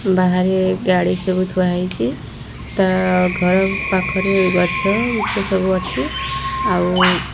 ବାହାରେ ଗାଡ଼ି ସବୁ ଥୁଆ ହେଇଛି ତା ଘର ପାଖରେ ଗଛ-ବୁଛ ସବୁ ଅଛି ଆଉ --